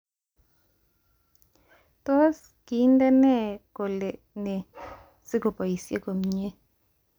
Tos, kindena kol nee sikoboishi komie